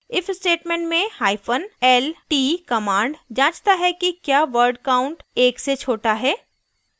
if statement में hyphen lt command जाँचता है कि क्या word count एक से छोटा है